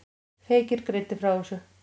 Feykir greinir frá þessu.